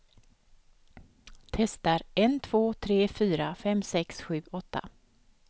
Testar en två tre fyra fem sex sju åtta.